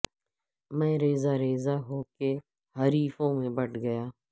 میں ریزہ ریزہ ہو کے حریفوں میں بٹ گیا